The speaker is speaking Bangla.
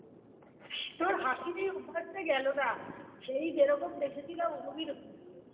তোর হাঁসির এই অভ্যাস টা গেলো না সেই যেরকম দেখেছিলাম ওরম ই রয়ে গেলো